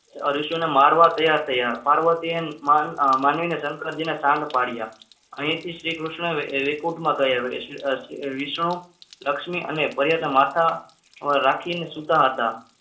ઋષિઓને મારવા તૈયાર થયા મારવા માનવીને શંકરજીએ શાંત પાડ્યા અહીંથી શ્રીકૃષ્ણએ રિપોર્ટમાં કહી આવ્યો વિશ્વમાં લક્ષ્મી અને મર્યાદા પાછા રાખીને સૂતા હતા.